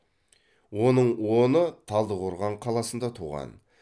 оның оңы талдықорған қаласында туған